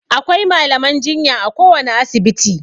Akwai malaman jinya a kowane asibiti.